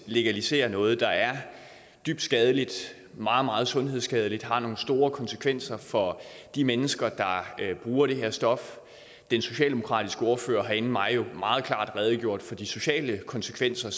legalisere noget der er dybt skadeligt meget meget sundhedsskadeligt har nogle store konsekvenser for de mennesker der bruger det her stof den socialdemokratiske ordfører har inden mig jo meget klart redegjort for de sociale konsekvenser